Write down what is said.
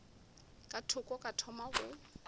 ka thoko ka thoma go